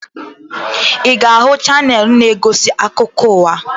Ị ga-ahụ chaneelụ na-egosi akụkọ ụwa?